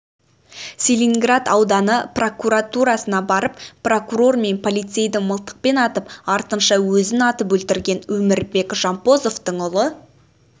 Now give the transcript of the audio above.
целиноград ауданы прокуратурасына барып прокурор мен полицейді мылтықпен атып артынша өзін атып өлтірген өмірбек жампозовтың ұлы